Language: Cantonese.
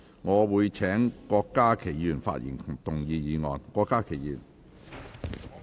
我請郭家麒議員發言及動議議案。